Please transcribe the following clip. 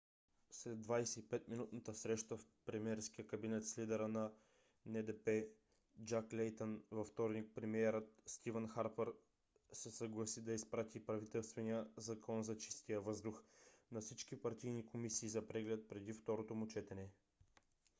след 25-минутната среща в премиерския кабинет с лидера на ндп джак лейтън във вторник премиерът стивън харпър се съгласи да изпрати правителствения закон за чистия въздух на всички партийни комисии за преглед преди второто му четене